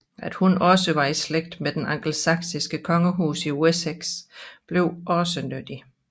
At hun også var i slægt med den angelsaksiske kongehus i Wessex blev også nyttig